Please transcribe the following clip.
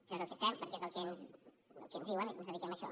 això és el que fem perquè és el que ens diuen i ens dediquem a això